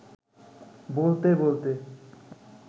বলতে-বলতে